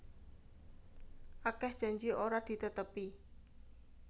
Akeh janji ora ditetepi